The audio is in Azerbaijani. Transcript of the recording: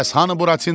Bəs hanı Buratina?